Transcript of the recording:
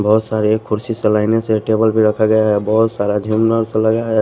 बहुत सारे खुर्सी से लाइनने से टेबल भी रखा गया है बहुत सारा झिमनर्स वगेरा है।